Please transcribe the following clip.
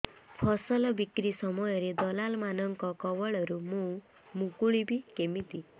ଫସଲ ବିକ୍ରୀ ସମୟରେ ଦଲାଲ୍ ମାନଙ୍କ କବଳରୁ ମୁଁ ମୁକୁଳିଵି କେମିତି